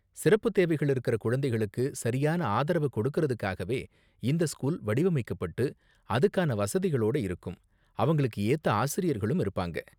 சிறப்பு தேவைகள் இருக்குற குழந்தைங்களுக்கு சரியான ஆதரவ கொடுக்குறதுக்காகவே இந்த ஸ்கூல் வடிவைமைக்கப்பட்டு, அதுக்கான வசதிகளோட இருக்கும், அவங்களுக்கு ஏத்த ஆசிரியர்களும் இருப்பாங்க.